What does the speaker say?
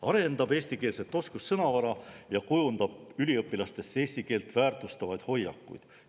–, arendab eestikeelset oskussõnavara ja kujundab üliõpilastes eesti keelt väärtustavaid hoiakuid.